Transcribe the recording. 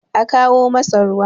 a kawo masa ruwa!